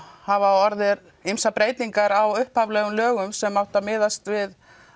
hafa orðið ýmsar breytingar á upphaflegum lögum sem átti að miðast við